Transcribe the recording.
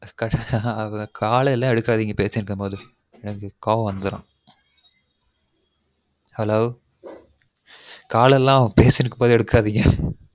call எல்லான் எடுக்காதீங்க பேசிட்டு இருக்கும் போது எனக்கு கோவம் வந்துடும் hello call எல்லான் பேசிட்டு இருக்கும் போது எடுக்காதீங்க